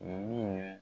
Min ye